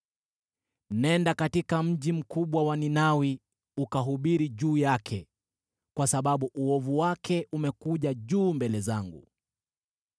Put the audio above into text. “Nenda katika mji mkubwa wa Ninawi ukahubiri juu yake, kwa sababu uovu wake umekuja juu mbele zangu.”